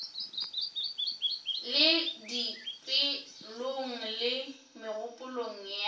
le dipelong le megopolong ya